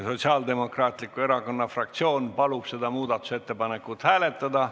Sotsiaaldemokraatliku Erakonna fraktsioon palub seda muudatusettepanekut hääletada.